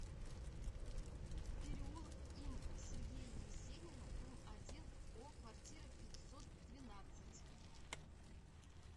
переулок им сергея есенина дом один о квартира пятьсот двенадцать